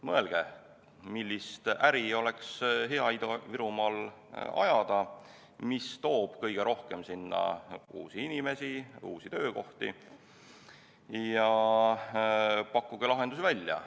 Mõelge, millist äri oleks hea Ida-Virumaal ajada, mis toob kõige rohkem sinna uusi inimesi, uusi töökohti, ja pakkuge lahendusi välja.